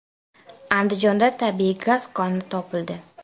Andijonda tabiiy gaz koni topildi.